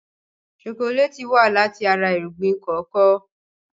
Ṣokoléètì wá láti ara irúgbìn kòkó.